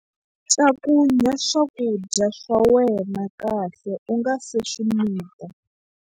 Cakunya swakudya swa wena kahle u nga si swi mita.